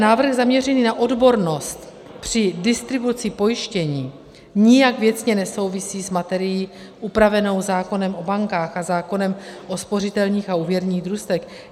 Návrh zaměřený na odbornost při distribuci pojištění nijak věcně nesouvisí s materií upravenou zákonem o bankách a zákonem o spořitelních a úvěrních družstvech.